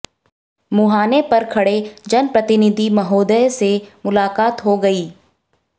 मुहाने पर खड़े जनप्रतिनिधि महोदय से मुलाकात हो गई